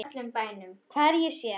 Hvar ég sé.